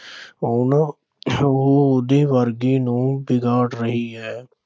ਉਹ ਵਰਗੀ ਨੂੰਹ ਵਿਗਾੜ ਰਹੀ ਹੈ।